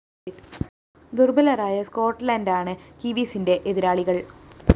ദുര്‍ബലരായ സ്‌കോട്ട്‌ലന്റാണ് കിവീസിന്റെ എതിരാളികള്‍